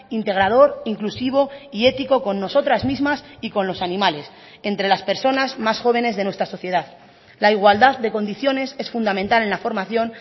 integrador inclusivo y ético con nosotras mismas y con los animales entre las personas más jóvenes de nuestra sociedad la igualdad de condiciones es fundamental en la formación